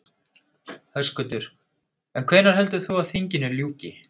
Höskuldur: En hvenær heldur þú að, að þinginu ljúki?